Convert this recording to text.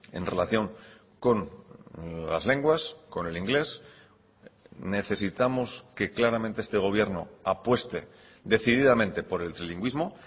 en relación con las lenguas con el inglés necesitamos que claramente este gobierno apueste decididamente por el trilingüismo